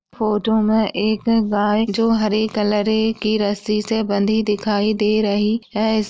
Photo में एक गाय जो हरे कलरे की रस्सी से बांधी दिखाई दे रही है। इस --